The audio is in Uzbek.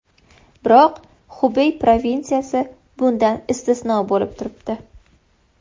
Biroq Xubey provinsiyasi bundan istisno bo‘lib turibdi.